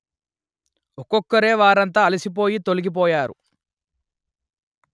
ఒక్కొక్కరే వారంతా అలసి పోయి తొలగి పోయారు